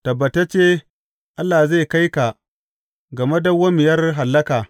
Tabbatacce Allah zai kai ka ga madawwamiyar hallaka.